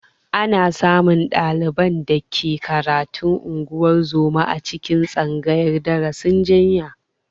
Ana samun ɗaliban da ke karatun ungozoma a cikin tsangayar darasin jinya